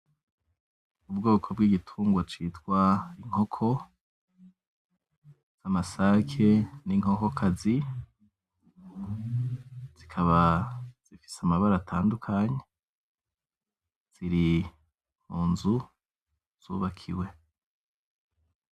Ubwoko bw'igitungwa citwa inkoko, amasake n'inkokokazi, zikaba zifise amabara atandukanye ziri munzu zubakiwe.